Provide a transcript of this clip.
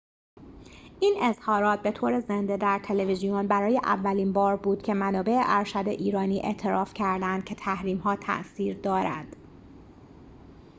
این اظهارات به طور زنده در تلویزیون برای اولین بار بود که منابع ارشد ایرانی اعتراف کرده اند که تحریم ها تأثیر دارد